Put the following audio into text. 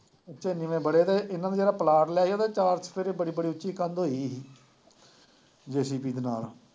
ਵੜੇ ਰਹੇ, ਇਹਨਾ ਨੂੰ ਜਿਹੜਾ ਪਲਾਟ ਲੈ ਕੇ ਦਿੱਤਾ ਸੀ, ਚਾਰ ਚੁਫੇਰੇ ਬੜੀ ਬੜੀ ਉੱਚੀ ਕੰਧ ਹੋਈ ਹੋਈ ਸੀ। ਦੇ ਨਾਲ